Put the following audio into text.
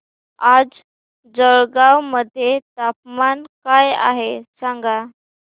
आज जळगाव मध्ये तापमान काय आहे सांगा